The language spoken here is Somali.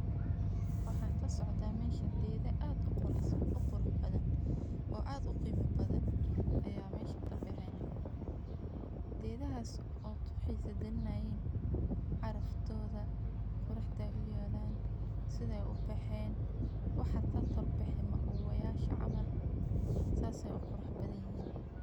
Waxa kasocda meshan gedo ad uquraxbadhan oo ad u qima badhan aya meshan kabexen, gedahas oo kuxisa galinayan caraftodha, quraxda uyalan, siday ubexen, waxa kakorbexe mauwayasha camal, sas ay uqurax badhanyihin.